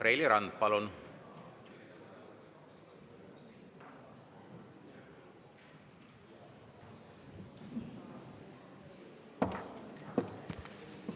Reili Rand, palun!